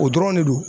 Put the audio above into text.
O dɔrɔn de don